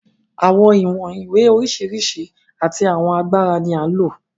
Àwọn ìwọ̀n ìwé oríṣiríṣi àti àwọn agbára ni à ń lò.